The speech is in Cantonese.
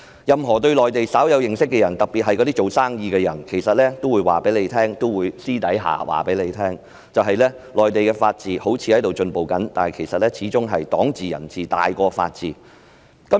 任何對內地稍有認識的人特別是營商人士私下也會說，即使內地法治看似有進步，但其實始終是黨治、人治凌駕法治。